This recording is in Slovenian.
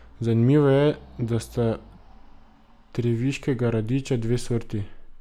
Zanimivo je, da sta treviškega radiča dve sorti.